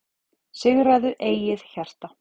Sigraðu eigið hjarta,